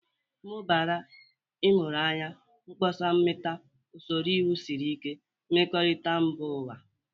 Mụbara ịmụrụ anya, mkpọsa mmata, usoro iwu siri ike, mmekorita mba ụwa.